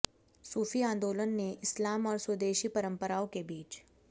सूफी आंदोलन ने इस्लाम और स्वदेशी परंपराओं के बीच